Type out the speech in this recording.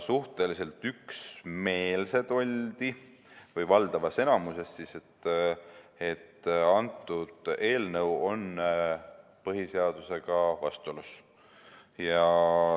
Suhteliselt üksmeelsed oldi või valdav enamik arvas, et antud eelnõu on põhiseadusega vastuolus.